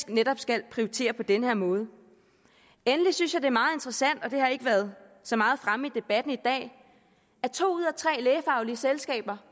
netop skal prioritere på den her måde endelig synes jeg er meget interessant og det har ikke været så meget fremme i debatten i dag at to ud af tre lægefaglige selskaber